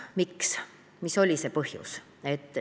Miks, mis oli see põhjus?